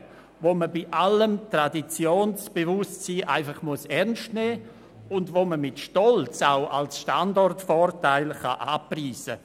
Diese muss man bei allem Traditionsbewusstsein ernst nehmen und man kann sie mit Stolz als Standortvorteil anpreisen.